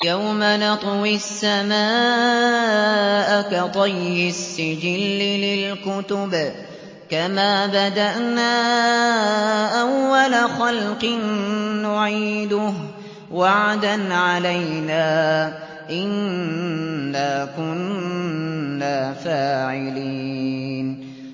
يَوْمَ نَطْوِي السَّمَاءَ كَطَيِّ السِّجِلِّ لِلْكُتُبِ ۚ كَمَا بَدَأْنَا أَوَّلَ خَلْقٍ نُّعِيدُهُ ۚ وَعْدًا عَلَيْنَا ۚ إِنَّا كُنَّا فَاعِلِينَ